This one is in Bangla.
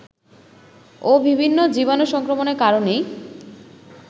ও বিভিন্ন জীবাণু সংক্রমণের কারণেই